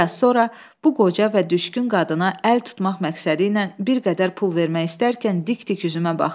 Bir az sonra bu qoca və düşkün qadına əl tutmaq məqsədi ilə bir qədər pul vermək istərkən dik-dik üzümə baxdı.